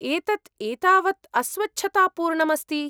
एतत् एतावत् अस्वच्छतापूर्णम् अस्ति।